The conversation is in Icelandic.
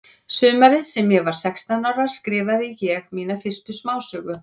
Sumarið sem ég var sextán ára skrifaði ég mína fyrstu smásögu.